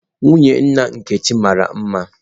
Nwunye nna Nkechi mara mma.